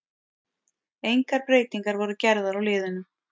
Engar breytingar voru gerðar á liðunum.